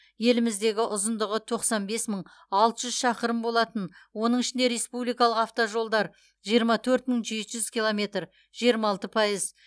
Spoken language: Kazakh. еліміздегі ұзындығы тоқсан бес мың алты жүз шақырым болатын оның ішінде республикалық автожолдар жиырма төрт мың жеті жүз километр жиырма алты пайыз